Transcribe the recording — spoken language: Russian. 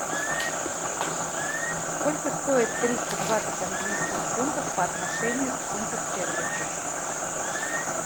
сколько стоит триста двадцать английских фунтов по отношению к фунту стерлингу